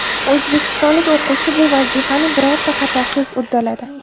O‘zbekistonlik o‘quvchi bu vazifani birorta xatosiz uddaladi.